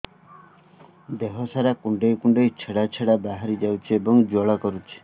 ଦେହ ସାରା କୁଣ୍ଡେଇ କୁଣ୍ଡେଇ ଛେଡ଼ା ଛେଡ଼ା ବାହାରି ଯାଉଛି ଏବଂ ଜ୍ୱାଳା କରୁଛି